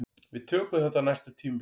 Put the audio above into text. Við tökum þetta á næsta tímabili